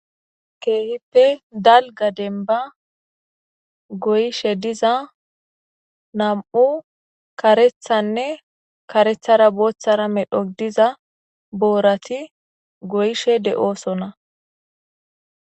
Keehippe Dalga demba goyishe diz nam'u karethanne karethara boothara medho diza boorati goyshe de'osona.